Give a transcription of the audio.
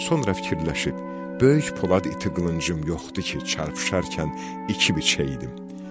Sonra fikirləşib, "Böyük polad iti qılıncım yoxdur ki, çarpışarkən iki biçəydim.